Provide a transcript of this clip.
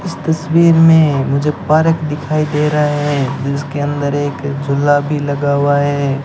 इस तस्वीर में मुझे पार्क दिखाई दे रहा है जिसके अंदर एक झुला भी लगा हुआ है।